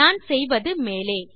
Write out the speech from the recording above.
நான் செய்வது மேலே